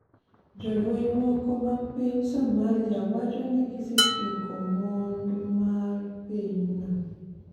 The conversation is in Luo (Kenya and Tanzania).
jolweny moko mapiny Somalia wacho ni gisetieko mond ma pinyno